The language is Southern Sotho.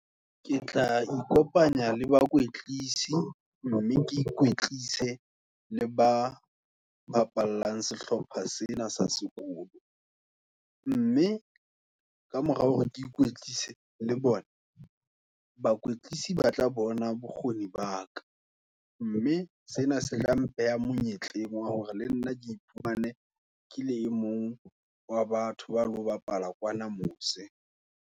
Ke tla ikopanya le bakwetlisi, mme ke ikwetlise, le ba bapalang, sehlopha sena sa sekolo, mme ka mora hore ke ikwetlise le bona, bakoetlisi ba tla bona bokgoni baka. Mme sena se le mpeha monyetleng, wa hore le nna ke iphumane, kele emong wa batho, ba lo bapala kwana mose.